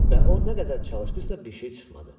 Və o nə qədər çalışdırsa, bir şey çıxmadı.